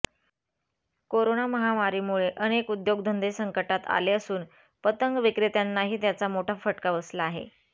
corona महामारीमुळे अनेक उद्योगधंदे संकटात आले असून पतंग विक्रेत्यांनाही याचा मोठा फटका बसला आहे